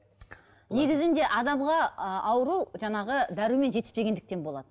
негізінде адамға ы ауру жаңағы дәрумен жетіспегендіктен болады